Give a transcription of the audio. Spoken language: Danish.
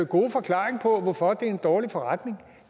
gode forklaring på hvorfor det er en dårlig forretning